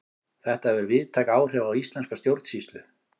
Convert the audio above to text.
Þetta hefur víðtæk áhrif á íslenska stjórnsýslu.